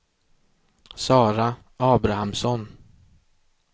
Sara Abrahamsson